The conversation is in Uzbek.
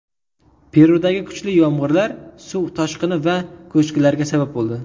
Perudagi kuchli yomg‘irlar suv toshqini va ko‘chkilarga sabab bo‘ldi.